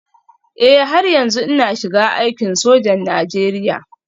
Eh har yanzu ina shiga aikin sojan Najeriya